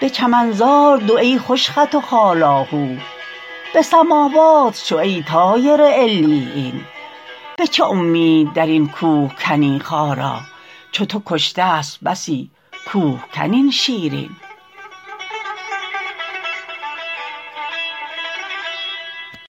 به چمنزار دو ای خوش خط و خال آهو به سماوات شو ای طایر علیین به چه امید در این کوه کنی خارا چو تو کشتست بسی کوهکن این شیرین